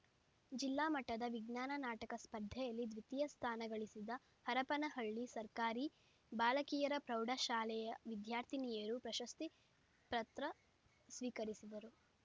ಜಿಲ್ಲಾ ಮಟ್ಟದ ವಿಜ್ಞಾನ ನಾಟಕ ಸ್ಪರ್ಧೆಯಲ್ಲಿ ದ್ವಿತೀಯ ಸ್ಥಾನ ಗಳಿಸಿದ ಹರಪನಹಳ್ಳಿ ಸರ್ಕಾರಿ ಬಾಲಕಿಯರ ಪ್ರೌಢ ಶಾಲೆಯ ವಿದ್ಯಾರ್ಥಿನಿಯರು ಪ್ರಶಸ್ತಿ ಪತ್ರ ಸ್ವೀಕರಿಸಿದರು